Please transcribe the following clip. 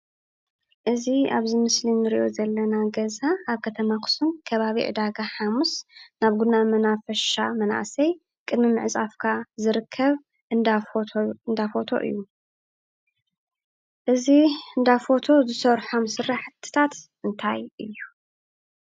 እዚ ኣብዚ ምስሊ እንሪኦ ዘለና ገዛ ኣብ ከተማ ኣኽሱም ከባቢ ዕዳጋ ሓሙስ ኣብ ጉና መናፈሻ መናእሰይ ቅድሚ ምዕፃፍካ ዝርከብ እንዳ ፎቶ እዩ። እዚ እንዳፎቶ ዝሰርሖም ስራሕትታት እንታይ እዩ?